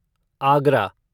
Agra